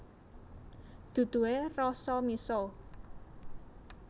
Duduhe rasa miso